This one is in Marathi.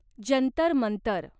जंतर मंतर